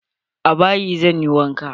A bayi zan yi wanka.